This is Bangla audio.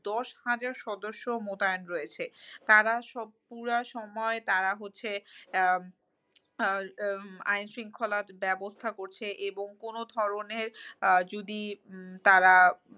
দশ হাজার সদস্য মোতায়েন রয়েছে। তারা সব পুরা সময় তারা হচ্ছে আহ আইনশৃঙ্খলার ব্যবস্থা করছে এবং কোনো ধরণের আহ যদি তারা